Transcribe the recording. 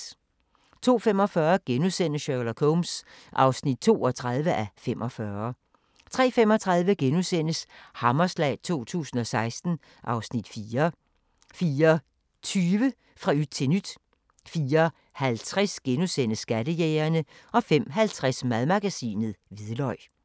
02:45: Sherlock Holmes (32:45)* 03:35: Hammerslag 2016 (Afs. 4)* 04:20: Fra yt til nyt 04:50: Skattejægerne * 05:50: Madmagasinet: Hvidløg